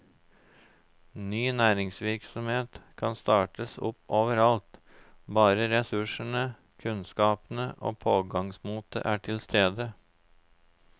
Ny næringsvirksomhet kan startes opp over alt, bare ressursene, kunnskapene og pågangsmotet er til stede.